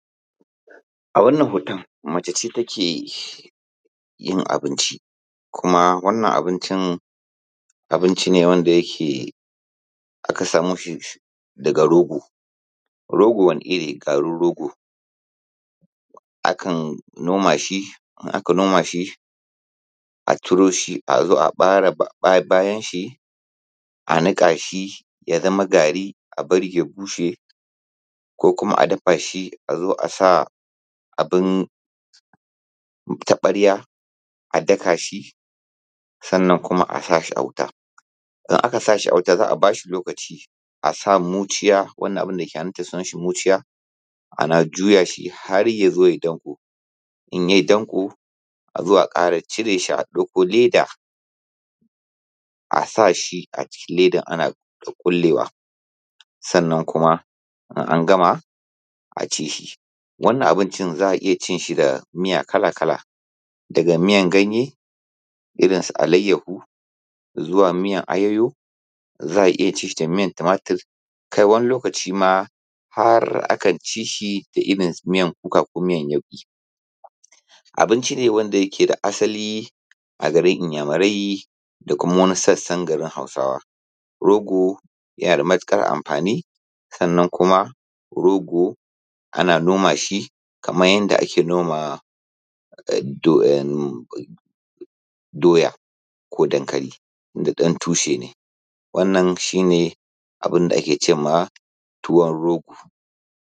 A wannan hoton mace ce takeyin abinci Kuma wannan abincin abune wanda aka samoshi yishi daga rogo. Rogo Wani irri garin rogo akan noma shi idan aka noma shi azo a cire ɓawon shi a nika shi yazama gari sannan abarashi ya bushe ko kuma a dafa shi azo asa abun taɓarya a daka shi sannan kuma azo, sannan kuma a sashi a wuta idan aka sashi a wuta za'a bashi lokaci asa muciya wannan abun dake hannun ta sunan shi muciya ana juya shi har yazo yai danƙo. Azo a ƙara cire shi a ɗauko leda a sashi a cikin ledan ana kukkullewa sannan kuma in an gama a cishi. Wannan abincin za'a iyya cinshi da Miya kala kala daga miyan ganye irrin su alayyahu, miyan ayayo, za'a iyya cinshi da miyan tumatur kai wani lokaci ma har akan cishi da irrin miyan kuka ko miyan yauƙi. Abinci wanda yake da asalin a garin Inyamurai da kuma wani sassan garin hausawa, rogo yana da matuƙar amfani sannan kuma rogo ana noma shi kaman yanda ake noma ko dankali duk 'yan' tushe ne wannan shine abunda ake cema tuwon rogo.